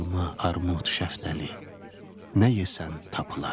Alma, armud, şaftalı, nə yesən tapılardı.